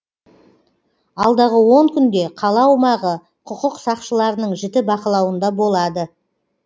алдағы он күнде қала аумағы құқық сақшыларының жіті бақылауында болады